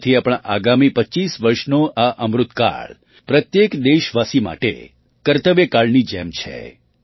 આથી આપણાં આગામી ૨૫ વર્ષનો આ અમૃતકાળ પ્રત્યેક દેશવાસી માટે કર્તવ્યકાળની જેમ છે